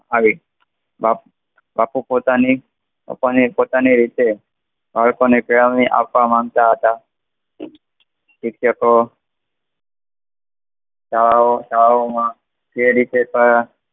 આવી બાપુ પોતાની રીતે બાદકો ને આપવા માનતા હતા સિક્ષકો એટલે તો તે રીતે કહ્યા